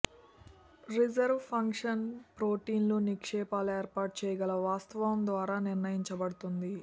reserve function ప్రోటీన్లు నిక్షేపాలు ఏర్పాటు చేయగల వాస్తవం ద్వారా నిర్ణయించబడుతుంది